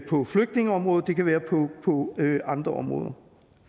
på flygtningeområdet det kan være på andre områder